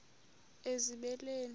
ezibeleni